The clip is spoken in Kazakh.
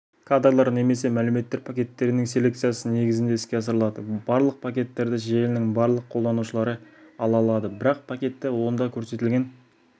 кадрлар немесе мәліметтер пакеттерінің селекциясы негізінде іске асырылады барлық пакеттерді желінің барлық қолданушылары ала алады бірақ пакетті онда көрсетілген